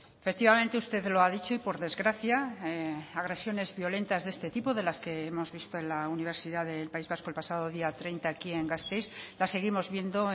efectivamente usted lo ha dicho y por desgracia agresiones violentas de este tipo de las que hemos visto en la universidad del país vasco el pasado día treinta aquí en gasteiz la seguimos viendo